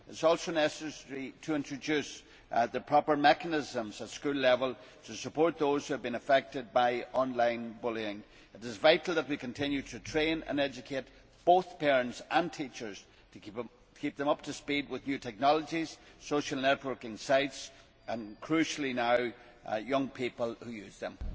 It is also necessary to introduce the proper mechanisms at school level to support those who have been affected by online bullying. It is vital that we continue to train and educate both parents and teachers to keep them up to speed with new technologies, social networking sites and, crucially now, the young people who use them.